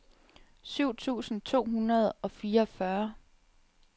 syv tusind to hundrede og fireogfyrre